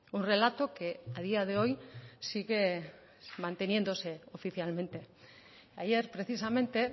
un relato que a día de hoy sigue manteniéndose oficialmente ayer precisamente